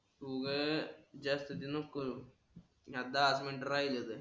तू उग जास्तीची नको करु दहा मिनिटं राहिलेत